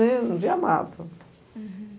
Não tinha mato. Uhum